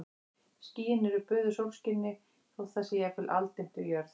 Skýin eru böðuð sólskini þótt það sé jafnvel aldimmt við jörð.